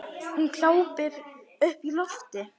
Hún glápir upp í loftið.